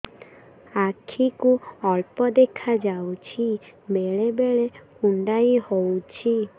ଆଖି କୁ ଅଳ୍ପ ଦେଖା ଯାଉଛି ବେଳେ ବେଳେ କୁଣ୍ଡାଇ ହଉଛି